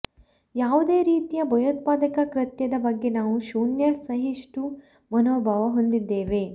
ಯಾವುದೇ ರೀತಿಯ ಭಯೋತ್ಪಾದಕ ಕೃತ್ಯದ ಬಗ್ಗೆ ನಾವು ಶೂನ್ಯ ಸಹಿಷ್ಣು ಮನೋಭಾವ ಹೊಂದಿದ್ದೇವೆ